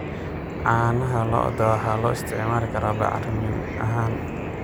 Caanaha lo'da waxaa loo isticmaali karaa bacrimin ahaan.